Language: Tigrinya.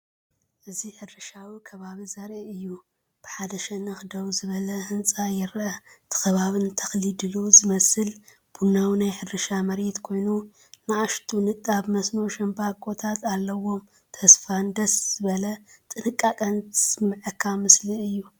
እዚ ሕርሻዊ ከባቢ ዘርኢ እዩ። ብሓደ ሸነኽ ደው ዝበለ ህንጻ ይርአ። እቲ ከባቢ ንተኽሊ ድሉው ዝመስል ቡናዊ ናይ ሕርሻ መሬት ኮይኑ፡ ንኣሽቱ ንጣብ መስኖ ሻምብቆታት ኣለዎ። ተስፋን ደስ ዝበል ጥንቃቐን ዝስመዓካ ምሰሊ እዩ።